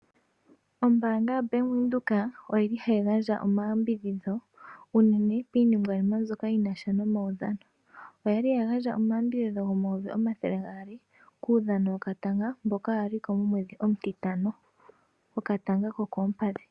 Ombaanga yoBank Windhoek oyili hayi gandja omayambidhidho uunene piiningwanima mbyoka yinasha nomawudhano. Oyali yagandja omayambidhidho gomayovi omathele gaali kuudhano wokatanga mboka waliko momwedhi omutitano wokatanga kokoompadhi.